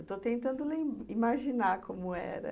Estou tentando imaginar como era.